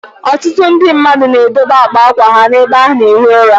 Ọtụtụ ndị mmadụ na edobe àkpà ákwà ha n'ebe ana-ehi ụra.